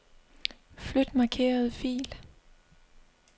Flyt markerede fil.